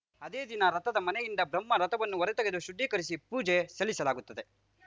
ಅದೇ ದಿನ ರಥದ ಮನೆಯಿಂದ ಬ್ರಹ್ಮ ರಥವನ್ನು ಹೊರತೆಗೆದು ಶುದ್ಧೀಕರಿಸಿ ಪೂಜೆ ಸಲ್ಲಿಸಲಾಗುತ್ತದೆ